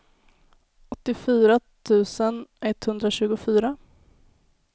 åttiofyra tusen etthundratjugofyra